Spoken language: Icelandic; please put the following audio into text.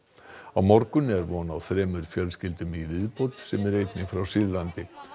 á morgun er von á þremur fjölskyldum í viðbót sem eru einnig frá Sýrlandi